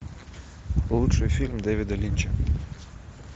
лучший фильм дэвида линча